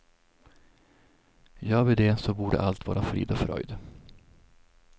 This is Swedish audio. Gör vi det så borde allt vara frid och fröjd.